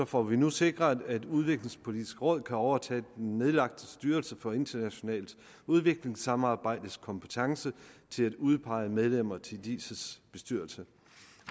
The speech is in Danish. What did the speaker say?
får vi nu sikret at udviklingspolitisk råd kan overtage den nedlagte styrelse for internationalt udviklingssamarbejdes kompetence til at udpege medlemmer til diis bestyrelse